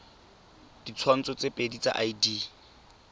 ditshwantsho tse pedi tsa id